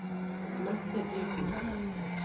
Mette Dybvik